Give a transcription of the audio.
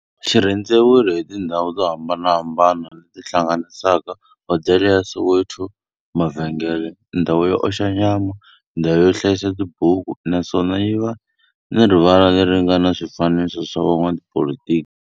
Xi rhendzeriwile hi tindhawu to hambanahambana le ti hlanganisaka, hodela ya Soweto, mavhengele, ndhawu yo oxa nyama, ndhawu yo hlayisa tibuku, naswona yi na rivala le ri nga na swifanekiso swa vo n'watipolitiki.